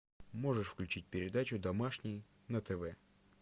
можешь включить передачу домашний на тв